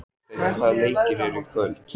Friðsteinn, hvaða leikir eru í kvöld?